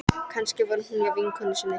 Kannski var hún hjá vinkonu sinni.